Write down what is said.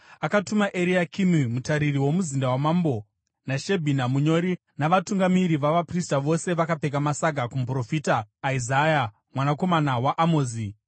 Akatuma Eriakimi mutariri womuzinda wamambo, naShebhina munyori navatungamiri vavaprista, vose vakapfeka masaga, kumuprofita Isaya mwanakomana waAmozi.